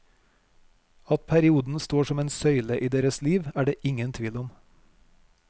At perioden står som en søyle i deres liv er det ingen tvil om.